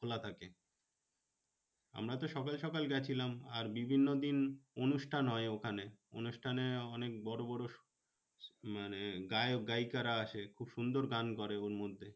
খোলা থাকে। আমরা তো সকাল সকাল গেছিলাম। আর বিভিন্ন দিন অনুষ্ঠান হয় ওখানে। অনুষ্ঠানে অনেক বড় বড় মানে গায়ক গায়িকারা আসে। খুব সুন্দর গান করে ওর মধ্যে।